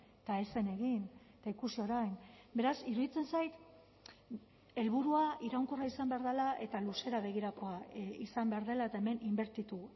eta ez zen egin eta ikusi orain beraz iruditzen zait helburua iraunkorra izan behar dela eta luzera begirakoa izan behar dela eta hemen inbertitu